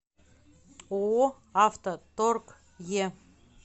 ооо авто торг е